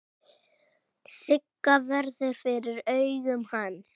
Sigga verður fyrir augum hans.